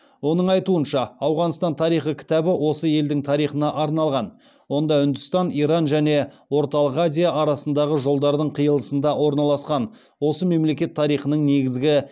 оның айтуынша ауғанстан тарихы кітабы осы елдің тарихына арналған онда үндістан иран және орталық азия арасындағы жолдардың қиылысында орналасқан осы мемлекет тарихының негізгі